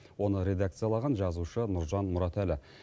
оны редакциялаған жазушы нұржан мұратәлі